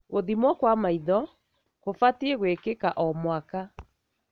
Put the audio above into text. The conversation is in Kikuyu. Gũthimwo kwa maitho kũbatie gwĩkika o mwaka.